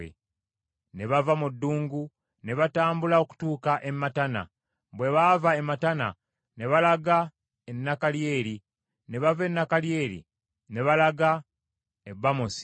Ne bava mu ddungu ne batambula okutuuka e Matana. Bwe baava e Matana ne balaga e Nakalieri, ne bava e Nakalieri ne balaga e Bamosi.